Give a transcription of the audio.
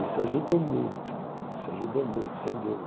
Isso ajudou muito, isso ajudou muito, sem dúvida.